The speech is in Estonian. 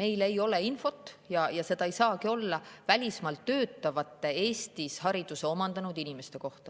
meil ei ole infot – ja seda ei saagi olla – välismaal töötavate Eestis hariduse omandanud inimeste kohta.